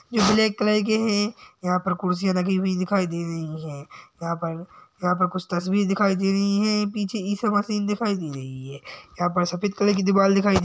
ये black colour के है। यहाँ पर कुर्सियाँ लगी हुई दिखाई दे रही हैं। यहाँ पर यहाँ पर कुछ तस्वीर दिखाई दे रही हैं पीछे ईसामसीह दिखाई दे रही है। यहाँ पर सफेद कलर की दीवाल दिखाई --